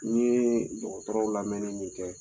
N ye dɔgɔtɔrɔw lamɛnni min kɛ